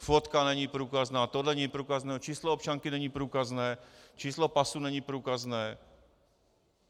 Fotka není průkazná, tohle není průkazné, číslo občanky není průkazné, číslo pasu není průkazné.